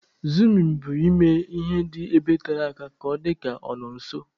Izumu bụ ime ihe dị ebe tere aka ka ọ dịka ọ nọ nso.